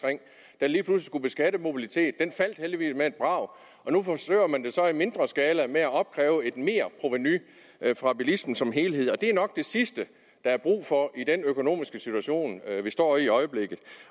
i skulle beskatte mobilitet den faldt heldigvis med et brag nu forsøger man det så i mindre skala med at opkræve et merprovenu fra bilismen som helhed det er nok det sidste der er brug for i den økonomiske situation vi står i i øjeblikket